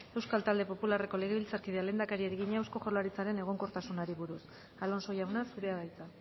euskal talde popularreko legebiltzarkideak lehendakariari egina eusko jaurlaritzaren egonkortasunari buruz alonso jauna zurea da hitza